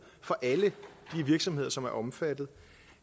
for alle de virksomheder som er omfattet